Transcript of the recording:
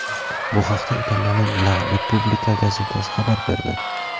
Bu haqda Italiyaning La Repubblica gazetasi xabar berdi .